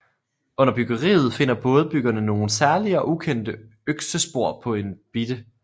Under byggeriet finder bådebyggerne nogle særlige og ukendte øksespor på en bite